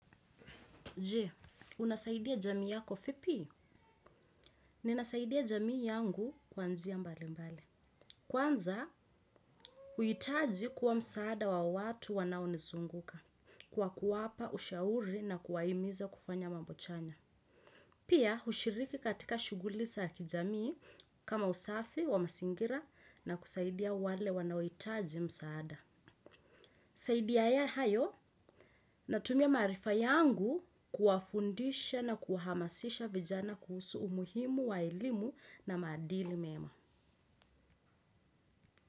Je, unasaidia jamii yako vipi? Ninasaidia jamii yangu kwa njia mbali mbali. Kwanza, huitaji kuwa msaada wa watu wanaonizunguka. Kwa kuwapa ushauri na kuwahimiza kufanya mambo chanya. Pia, hushiriki katika shuguli za kijamii kama usafi wa mazingira na kusaidia wale wanaohitaji msaada. Zaidi ya ya hayo na tumia maarifa yangu kuwafundisha na kuwahamasisha vijana kuhusu umuhimu, wa elimu na madili mema.